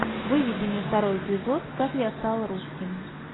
выведи мне второй эпизод как я стал русским